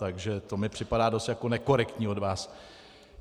Takže to mi připadá dost jako nekorektní od vás.